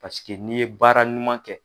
Paseke n'i ye baara ɲuman kɛ.